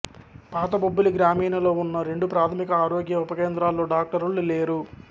పాత బొబ్బిలి గ్రామీణలో ఉన్న రెండు ప్రాథమిక ఆరోగ్య ఉప కేంద్రాల్లో డాక్టర్లు లేరు